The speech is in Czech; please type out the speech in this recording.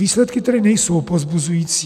Výsledky tedy nejsou povzbuzující.